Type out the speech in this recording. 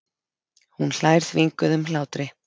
Hún hlær þvinguðum hlátri.